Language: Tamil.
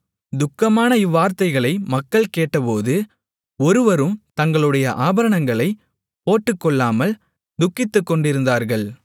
துக்கமான இவ்வார்த்தைகளை மக்கள் கேட்டபோது ஒருவரும் தங்களுடைய ஆபரணங்களைப் போட்டுக்கொள்ளாமல் துக்கித்துக்கொண்டிருந்தார்கள்